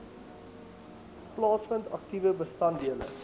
plaasvind aktiewe bestanddele